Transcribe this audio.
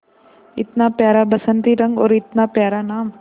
इतना प्यारा बसंती रंग और इतना प्यारा नाम